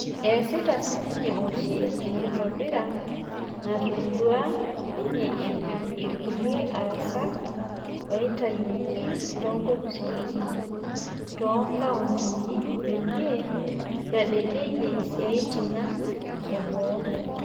Eesita sininye oshi enkitobira, natodua ninye epik "ilkulia aasak oitayuoki toonkofisi too nkauntin peyie eitadedeyia siatin ang eboo".